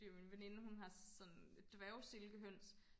min veninde hun har sådan dværg silkehøns